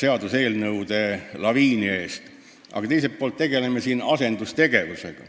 seaduseelnõude laviini ees, aga teiselt poolt tegeleme siin asendustegevusega.